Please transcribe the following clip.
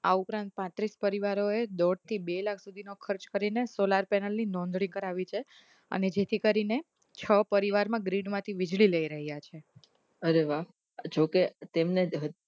આ ઉપરાંત પાંત્રીશ પરિવારોએ દોડ થી બે લાખ સુધી નો ખર્ચ કરીને solar panel નોધણી કરાવી છે અને જેથી કરીને છ પરિવાર માં grade માંથી વીજળી લઇ રહ્યા અરે વાહ જોકે તેમને